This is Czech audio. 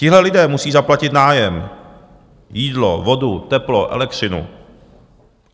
Tihle lidé musí zaplatit nájem, jídlo, vodu, teplo, elektřinu.